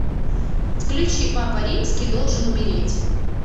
включи папа римский должен умереть